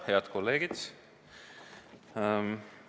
Head kolleegid!